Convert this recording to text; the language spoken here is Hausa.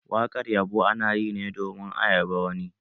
Wakar yabo ana yi ne domin a yabon wani.